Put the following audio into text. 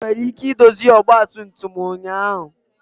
Ị nwere ike idozi ọgba tum tum ụnyaahụ?